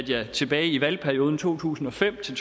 jeg tilbage i valgperioden to tusind og fem til